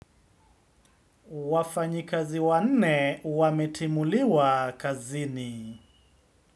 Wafanyikazi wanne wametimuliwa kazini.